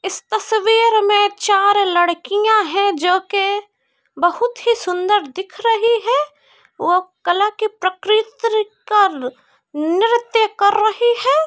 इस तस्वीर में चार लड़कियां है जो की बहुत ही सुन्दर दिख रही है| वो कला की प्रकृति का नृत्य कर रही है।